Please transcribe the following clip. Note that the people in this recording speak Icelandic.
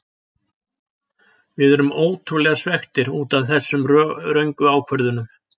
Við erum ótrúlega svekktir útaf þessum röngu ákvörðunum.